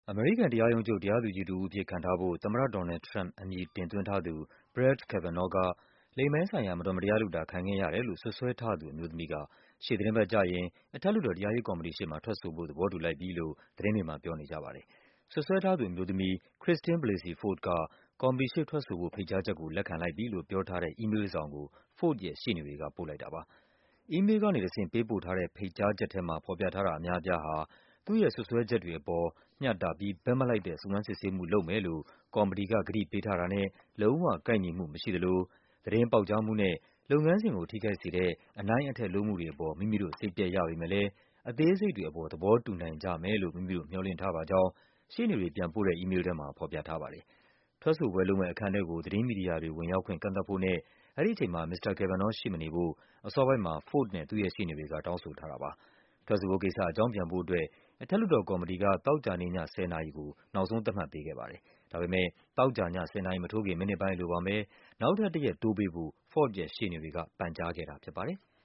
အမေရိကန် တရားရုံးချုပ် တရားသူကြီးတဦးအဖြစ် ခန့်ထားဖို့ သမ္မတ ဒေါ်နယ်လ်ဒ် ထရမ့်ပ် အမည်တင်သွင်းထားသူ Brett Kavanaugh က လိင်ပိုင်းဆိုင်ရာမတော်မတရားလုပ်တာ ခံခဲ့ရတယ်လို့ စွပ်စွဲထားသူအမျိုးသမီးက ရှေ့သီတင်းပတ်ကျရင် အထက်လွှတ်တော် တရားရေးကော်မတီရှေ့မှာ ထွက်ဆိုဖို့ သဘောတူလိုက်ပြီလို့ သတင်းတွေမှာ ပြောနေကြပါတယ်။ စွပ်စွဲထားသူအမျိုးသမီး Christine Blasey Ford က ကော်မတီရှေ့ထွက်ဆိုဖို့ ဖိတ်ကြားချက်ကို လက်ခံလိုက်ပြီလို့ ပြောထားတဲ့ အီးမေးလ်တစောင်ကို Ford ရဲ့ရှေ့နေတွေက ပို့လိုက်တာပါ။ “အီးမေးလ်ကနေတဆင့် ပေးပို့ထားတဲ့ ဖိတ်ချက်ကြားထဲမှာ ဖော်ပြ ထားတာအများအပြားဟာ သူ့ရဲ့စွပ်စွဲချက်တွေအပေါ် မျှတပြီး ဘက်မလိုက်တဲ့ စုံစမ်းစစ်ဆေးမှုလုပ်မယ်လို့ ကော်မတီက ကတိ ပေးထားတာနဲ့ လုံးဝ ကိုက်ညီမှုမရှိသလို သတင်းပေါက်ကြားမှုနဲ့ လုပ်ငန်းစဉ်ကို ထိခိုက်စေတဲ့ အနိုင့်အထက် လုပ်မှုတွေအပေါ် မိမိတို့ စိတ်ပျက်ရပေမဲ့လည်း အသေးစိတ်တွေအပေါ် သဘောတူနိုင်ကြမယ်လို့ မိမိတို့ မျှော်လင့်ထားပါကြောင်း” ရှေ့နေတွေ ပြန်ပို့တဲ့ အီးမေးလ်ထဲမှာ ဖော်ပြထားပါတယ်။ ထွက်ဆိုပွဲလုပ်မယ့် အခန်းထဲကို သတင်းမီဒီယာတွေ ဝင်ရောက်ခွင့် ကန့်သတ်ဖို့နဲ့ အဲဒီအချိန်မှာ မစ္စတာ Kavanaugh ရှိမနေဖို့ အစောပိုင်းမှာ Ford နဲ့ သူ့ရဲ့ရှေ့နေတွေက တောင်းဆိုထားတာပါ။ ထွက်ဆိုဖို့ကိစ္စ အကြောင်းပြန်ဖို့အတွက် အထက်လွှတ်တော်ကော်မတီက သောကြာနေ့ည ၁၀ နာရီကို နောက်ဆုံးသတ်မှတ်ပေး ခဲ့တာပါ။ ဒါပေမဲ့ သောကြာည ၁၀ နာရီ မထိုးခင် မိနစ်ပိုင်းအလိုမှာပဲ နောက်ထပ်တရက် တိုးပေးဖို့ Ford ရဲ့ ရှေ့နေတွေက ပန်ကြားခဲ့တာဖြစ်ပါတယ်။